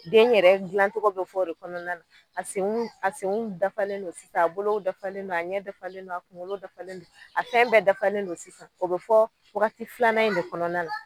Den yɛrɛ dilancogo bɛ fɔ o de kɔnɔna na a senw a senw a dafalen don sisan a bolo dafalen don a ɲɛ dafalen don a kunkolo dafalen don a fɛn bɛɛ dafalen don sisan o bɛ fɔ waagati filanan in de kɔnɔna na.